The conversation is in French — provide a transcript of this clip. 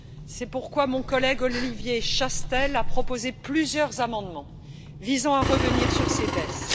C'est pourquoi mon collègue Olivier Chastel a proposé plusieurs amendements visant à revenir sur ces baisses.